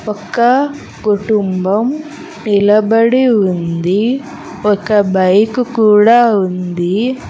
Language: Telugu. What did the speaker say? ఒక కుటుంబం నిలబడి ఉంది ఒక బైక్ కూడా ఉంది.